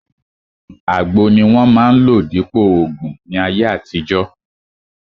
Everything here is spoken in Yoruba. Àgbo ni wọ́n máa ń lò dípòo ògùn ní ayé àtijọ́